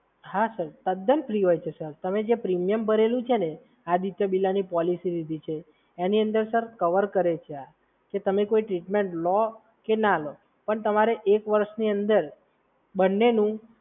હા સર, તદ્દન ફ્રી હોય છે સર. તમે જે પ્રીમિયમ ભરેલું છે ને? આદિત્ય બિરલાની પોલિસી લીધેલી છે? એની અંદર કવર કર્યું છે આ કે તમે કોઈ ટ્રીટમેન્ટ લો કે ના લો પણ તમારે એક વર્ષની અંદર બંનેની